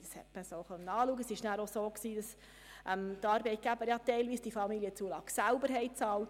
Die Arbeitgeber haben diese Familienzulagen teilweise auch selber bezahlt.